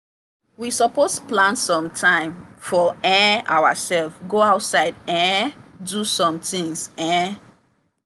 we suppose plan some time for um ourselves go outside um do some tings. um